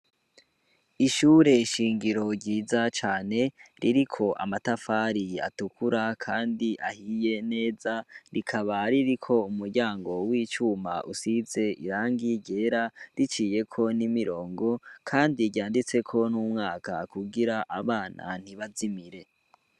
Ishure shingiro ryiza cane ririko amatafariyi atukura, kandi ahiye neza rikaba ririko umuryango w'icuma usize irangi rera riciyeko n'imirongo, kandi ryanditseko n'umwaka kugira abana ntibazimire.